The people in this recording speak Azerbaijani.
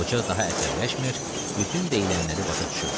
Qoca daha əsəbiləşmir, bütün deyilənləri başa düşürdü.